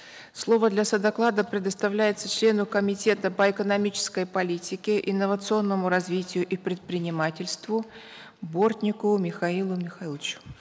слово для содоклада предоставляется члену комитета по экономической политике инновационному развитию и предпринимательству бортникову михаилу михайловичу